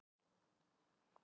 KRISTJÁN: Ekki andartak?